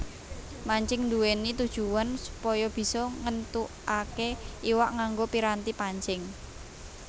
Mancing nduwèni tujuwan supaya bisa ngéntukaké iwak nganggo piranti pancing